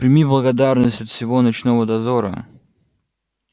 прими благодарность от всего ночного дозора